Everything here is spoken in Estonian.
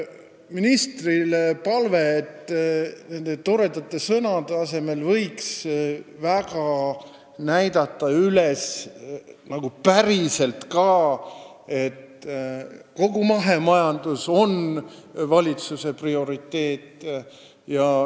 Ministrile on palve, et toredate sõnade asemel võiks päriselt ka üles näidata seda, et kogu mahemajandus on valitsuse prioriteet.